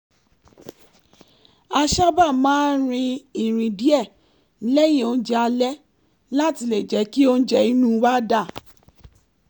a sábà máa ń rin ìrìn díẹ̀ lẹ́yìn oúnjẹ alẹ́ láti jẹ́ kí óúnjẹ inú wa dà